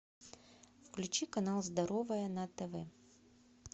включи канал здоровое на тв